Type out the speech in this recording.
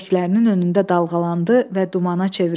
Bəbəklərinin önündə dalğalandı və dumana çevrildi.